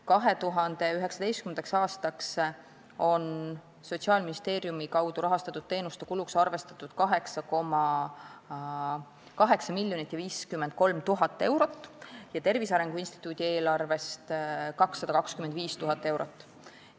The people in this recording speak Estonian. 2019. aastaks on Sotsiaalministeeriumi kaudu rahastatud teenuste kuluks arvestatud 8,053 miljonit eurot ja Tervise Arengu Instituudi eelarvest 225 000 eurot.